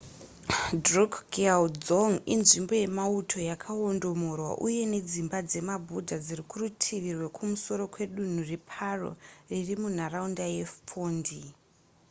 drukgyal dzong inzvimbo yemauto yakaondomorwa uye nedzimba dzemabuddha dziri kurutivi rwekumusoro kwedunhu reparo riri munharaunda yephondey